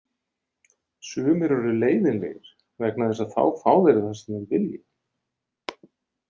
Sumir eru leiðinlegir vegna þess að þá fá þeir það sem þeir vilja.